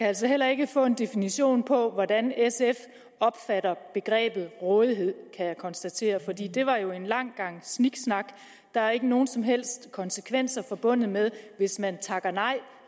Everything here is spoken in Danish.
altså heller ikke få en definition på hvordan sf opfatter begrebet rådighed kan jeg konstatere for det var jo en lang gang sniksnak der er ikke nogen som helst konsekvenser forbundet med hvis man takker nej